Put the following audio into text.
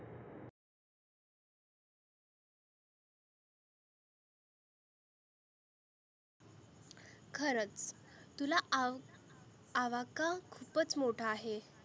खरचं तुला आव आवाका खुपच मोठा आहे.